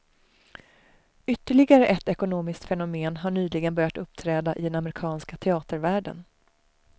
Ytterligare ett ekonomiskt fenomen har nyligen börjat uppträda i den amerikanska teatervärlden.